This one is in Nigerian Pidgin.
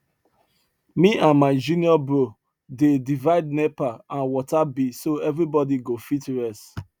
me and my junior bro dey divide nepa and water bill so everybody go fit rest